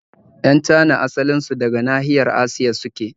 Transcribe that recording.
Yan Cana asalin su daga nahiyar Asiya suke